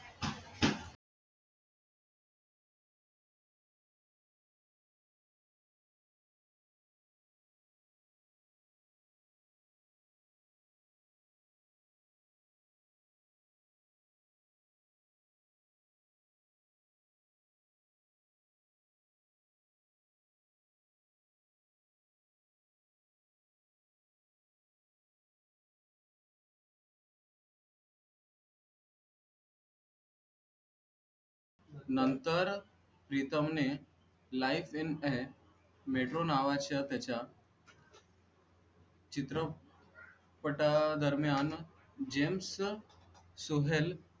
नंतर प्रीतम ने life in है metro नावाच्या त्याच्या चित्र पटा दरम्यान जेम्स सोहेल